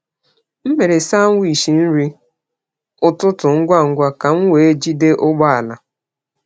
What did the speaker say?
M mere sandwich nri ụtụtụ ngwa ngwa ka m wee jide ụgbọ ala.